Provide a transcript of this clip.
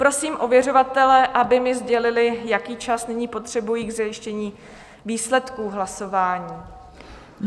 Prosím ověřovatele, aby mi sdělili, jaký čas nyní potřebují k zajištění výsledků hlasování.